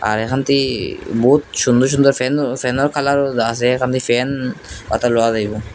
আর এখান থে বহুত সুন্দর সুন্দর ফ্যানও ফ্যানের কালারও আসে এখান থেকে ফ্যান অর্থাৎ লেওয়া যাইব।